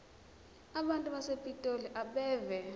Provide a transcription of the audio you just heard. abantu basepitoli abeve